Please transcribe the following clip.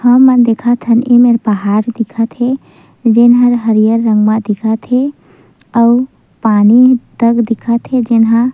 हमन देखत हन एमेर पहाड़ दिखत हे जेन हर हरियर रंग मे दिखत हे अऊ पानी तक दिखत हे जेन ह--